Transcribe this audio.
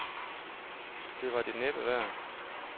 Det var det næppe værd.